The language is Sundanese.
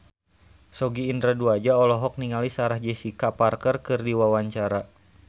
Sogi Indra Duaja olohok ningali Sarah Jessica Parker keur diwawancara